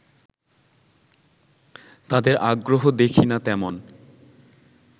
তাদের আগ্রহ দেখি না তেমন